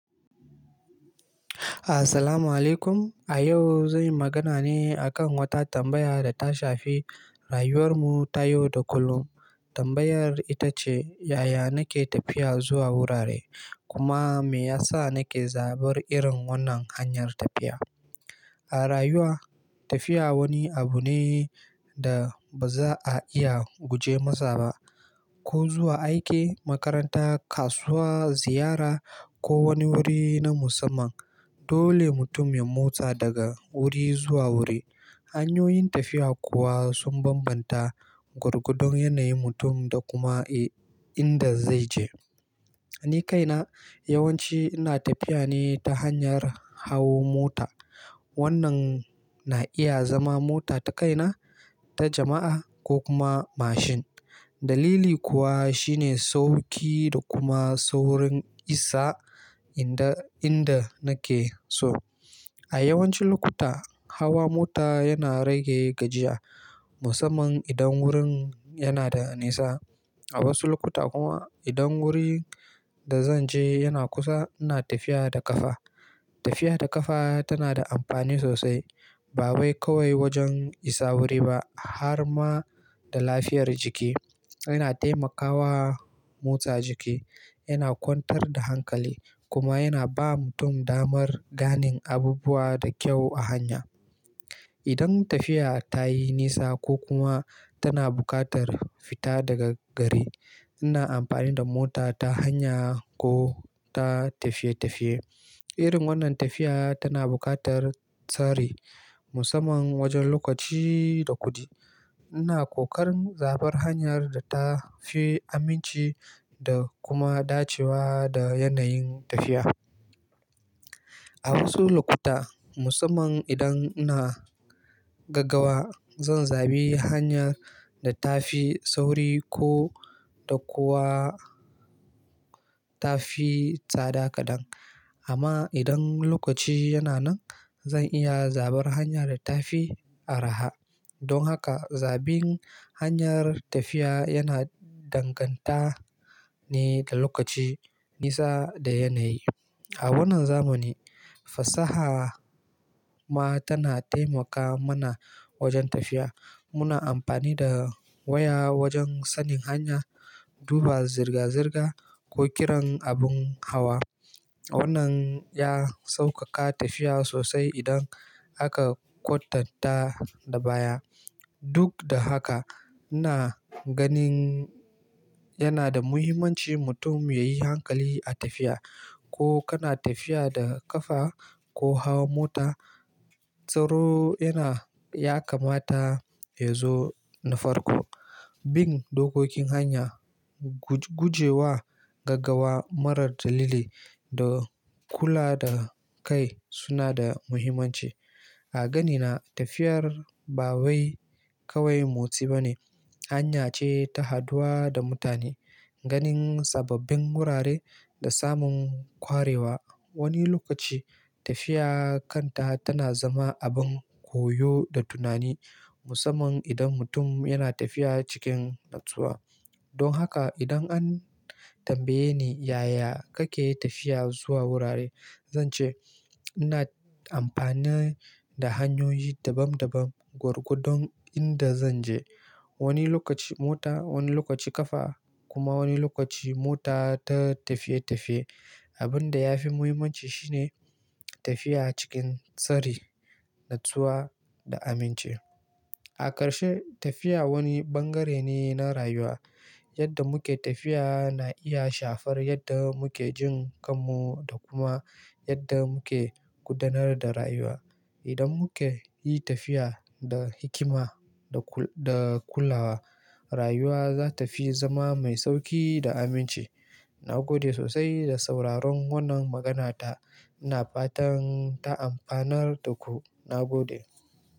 Assalamu alaikum. A yau, zan yi magana ne a kan wata tambaya da ta shafi rayuwar mu ta yau da kullum. Tambayar ita ce, yaya nake tafiya zuwa wurare, kuma me yasa nake zabar irin wannan hanyar tafiya. A rayuwa, tafiya wani abu ne da ba za a iya guje masa ba. Ko zuwa aiki, makaranta, kasuwa, ziyara ko wani wuri na musamman, dole mutum ya motsa daga wuri zuwa wuri. Hanyoyin tafiya kuwa sun bambanta gwargwadon yanayin mutum da kuma, eh, inda zai je. Ni kaina, yawanci ina tafiya ne ta hanyar hawo mota. Wannan na iya zama mota ta kaina, ta jama'a ko kuma mashin. Dalili kuwa shine sauki da kuma saurin isa inda, inda nake so. A yawancin lokuta, hawa mota yana rage gajiya, musamman idan wurin yana da nisa. A wasu lokuta kuma, idan wurin da zan je yana kusa, ina tafiya da ƙafa. Tafiya da ƙafa tana da amfani sosai, ba wai kawai wajen isa wuri ba har ma da lafiyar jiki. Yana taimakawa motsa jiki, yana kwantar da hankali kuma yana ba mutum damar ganin abubuwa da kyau a hanya. Idan tafiya tayi nisa ko kuma tana buƙatar fita daga gari, ina amfani da mota ta hanya ko ta tafiye-tafiye. Irin wannan tafiya tana buƙatar tsari, musamman wajen lokaci da kuɗi. Ina kokarin zabar hanyar da ta fi aminci da kuma dacewa da yanayin tafiya. A wasu lokuta, musamman idan ina gaggawa, zan zabi hanya da ta fi sauri ko da kuwa ta fi tsada kaɗan. Amma idan lokaci yana nan, zan iya zabar hanya da ta fi arha. Don haka, zabin hanyar tafiya yana danganta ne da lokaci, nisa da yanayi. A wannan zamani, fasaha ma tana taimaka mana wajen tafiya. Muna amfani da waya wajen sanin hanya, duba zirga-zirga ko kiran abun hawa. Wannan ya sauƙaƙa tafiya sosai idan aka kwatanta da baya. Duk da haka, ina ganin yana da muhimmanci mutum ya yi hankali a tafiya. Ko kana tafiya da ƙafa ko hawan mota, tsaro yana ya kamata ya zo na farko. Bin dokokin hanya, gu guje wa gaggawa marar dalili da kula da kai suna da muhimmanci. A ganina, tafiyar ba wai kawai motsi ba ne, hanya ce ta haduwa da mutane, ganin sababbin wurare da samun kwarewa. Wani lokaci, tafiya kanta tana zama abin koyo da tunani, musamman idan mutum yana tafiya cikin natsuwa. Don haka, idan an tambaye ni yaya kake tafiya zuwa wurare, zan ce ina amfani da hanyoyi daban-daban gwargwadon inda zan je. Wani lokaci mota, wani lokaci ƙafa kuma wani lokaci mota ta tafiye-tafiye. Abin da ya fi muhimmanci shi ne tafiya cikin tsari, natsuwa da aminci. A karshe, tafiya wani bangare ne na rayuwa. Yadda muke tafiya na iya shafar yadda muke jin kanmu da kuma yadda muke gudanar da rayuwa. Idan muke yi tafiya da hikima da kulawa, rayuwa za ta fi zama mai sauƙi da aminci. Na gode sosai da sauraron wannan maganata. Ina fatan ta amfanar da ku. Na gode.